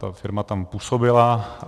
Ta firma tam působila.